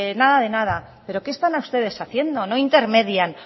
nada de nada pero qué están ustedes haciendo no intermedian